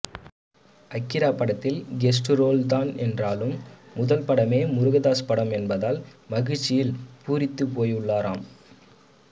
அகிரா படத்தில் கெஸ்ட் ரோல்தான் என்றாலும் முதல்படமே முருகதாஸ் படம் என்பதால் மகிழ்ச்சியில் பூரித்து போயுள்ளாராம்